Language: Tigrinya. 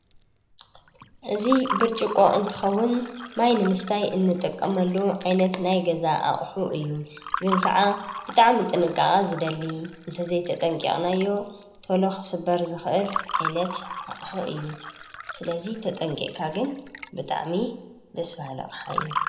እዙ ብርጭቆ እንትኸውን ማይ ንምስታይ እንጠቀመሉ ዓይነት ናይ ገዛ ኣቕሑ እዩ ግን ከዓ ብጣዕሚ ጥንቃቓ ዝደሊ እንተዘይተጠንቅቕናዮ ተሎኽ ስበር ዝኽእል ኣይነት ኣቕሑ እዩ ስለዙይ ተጠንቂቕካግን ብጣዕሚ ደስቢ ሃለቕሓእዩ፡፡